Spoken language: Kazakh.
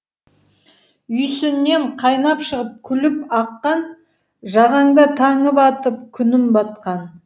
үйсіннен қайнап шығып күліп аққан жағаңда таңым атып күнім батқан